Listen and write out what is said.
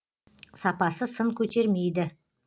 сапасы сын көтермейді